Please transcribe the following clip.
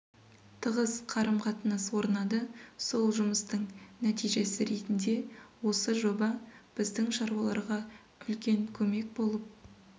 тығыз қарым қатынас орнады сол жұмыстың нәтижесі ретінде осы жоба біздің шаруаларға үлкен көмек болып